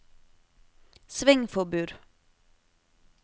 svingforbud